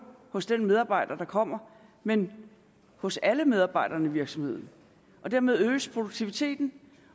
hos den medarbejder der kommer men hos alle medarbejderne i virksomheden dermed øges produktiviteten